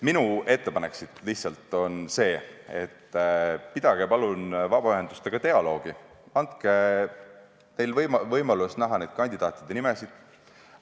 Minu ettepanek on see, et pidage palun vabaühendustega dialoogi, andke neile võimalus näha kandidaatide nimesid.